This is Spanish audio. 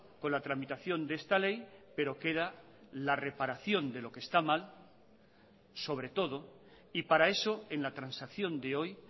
con la tramitación de esta ley pero queda la reparación de lo que está mal sobre todo y para eso en la transacción de hoy